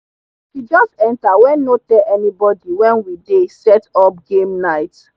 she just enter when no tell anybody when we dey set up game night.